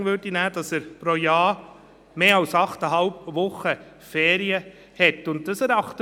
– Dann gebe ich das Wort noch Grossrätin Imboden für die grüne Fraktion